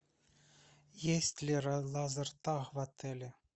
есть ли лазертаг в отеле